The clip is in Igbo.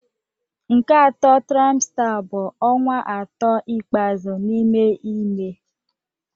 Nke atọ trimester bụ ọnwa atọ ikpeazụ n'ime ime